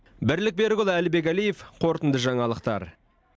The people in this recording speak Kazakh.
бірлік берікұлы әлібек әлиев қорытынды жаңалықтар